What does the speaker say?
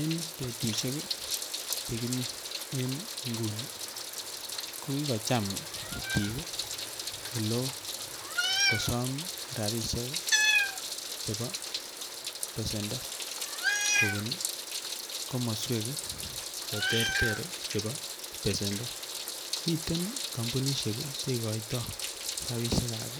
Enbetusiek che kimi en nguni ko kigocham biik ole oo kosm rabisiek chebo besendo kobun komoswek che terter chebo besendo. Miten kompunisiek che igoitoi rabisiek ab